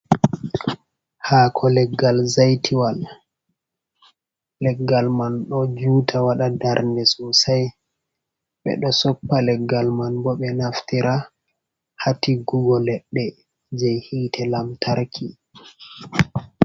Haako leggal zaitiwal. leggal man ɗo juuta waɗa darnde sosai, ɓe ɗo soppa leggal man bo ɓe naftira haa tiggugo leɗɗe je hite lantarki.